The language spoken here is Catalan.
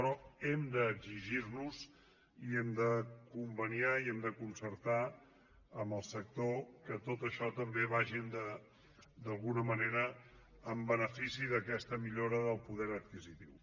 però hem d’exigir nos i hem de conveniar i hem de concertar amb el sector que tot això també vagi d’alguna manera en benefici d’aquesta millora del poder adquisitiu